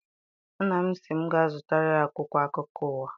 Nna m sị m ga zụtara ya akwụkwọ akụkọ ụwa.